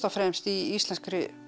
fremst í íslenskri